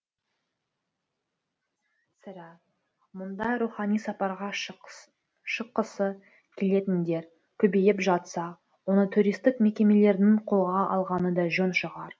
сірә мұндай рухани сапарға шыққысы келетіндер көбейіп жатса оны туристік мекемелердің қолға алғаны да жөн шығар